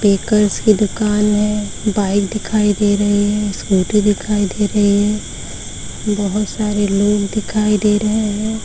Bakers की दुकान है। बाइक दिखाई दे रहे है। स् सीकूटी दिखाई दे रही है। बहोत सारे लोग दिखाई दे रहे है।